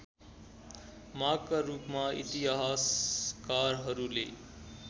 मागका रूपमा इतिहासकारहरूले